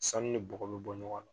Sanu ni bɔgɔ bɛ bɔ ɲɔgɔn na